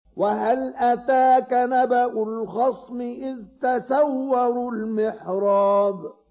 ۞ وَهَلْ أَتَاكَ نَبَأُ الْخَصْمِ إِذْ تَسَوَّرُوا الْمِحْرَابَ